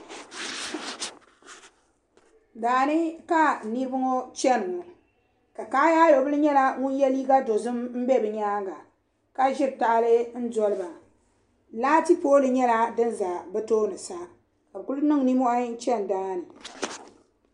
Daani ka niribi ŋɔ chani ŋɔ, ka kaayaayɔ bili nyala ŋun ye liiga dɔzim n be bɛ nyaaŋa, ka ʒiri tahili n doli ba laati pooli nyala din ʒɛ bɛ toonisa, ka bɛ kuli niŋ nin mohi. n. chani daani